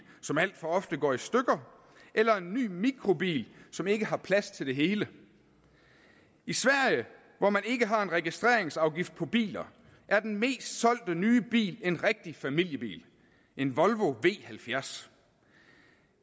som alt for ofte går i stykker eller en ny mikrobil som ikke har plads til det hele i sverige hvor man ikke har en registreringsafgift på biler er den mest solgte nye bil en rigtig familiebil en volvo v70